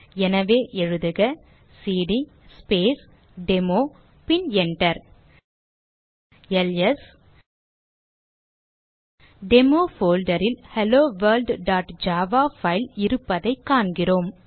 எனவே எழுதுக CD space demo பின் Enter செய்க எல்எஸ் டெமோ folder ல் helloworldஜாவா பைல் இருப்பதைக் காண்கிறோம்